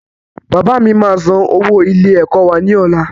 Bàbá mi máa san owó ilé ẹ̀kọ́ wá ní ọ̀la